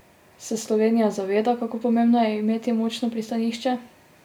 Se Slovenija zaveda, kako pomembno je imeti močno pristanišče?